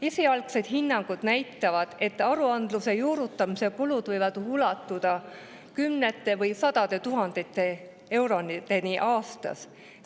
Esialgsed hinnangud näitavad, et aruandluse juurutamise kulud võivad ulatuda kümnete või sadade tuhandete eurodeni aastas.